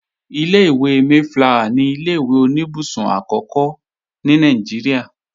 Ilé-ìwé Mayflower ni ilé-ìwé oníbùsùn akẹ́ẹ̀kọ́ àkọ́kọ́ ní Nàìjíríà